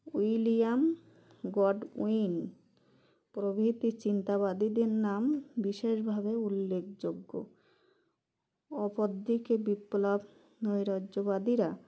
William Godwin প্রভৃতি চিন্তাবাদীদের নাম বিশেষ ভাবে উল্লেখযোগ্য অপর দিকে বিপ্লব নৈরাজ্যবাদীরা